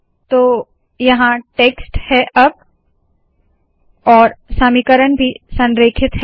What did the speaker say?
तो यहाँ टेक्स्ट है और समीकरण भी संरेखित है